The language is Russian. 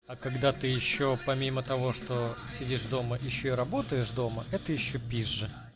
а когда ты ещё помимо того что сидишь дома ещё работаешь дома это ещё пизже